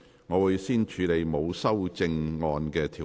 我會先處理沒有修正案的條文。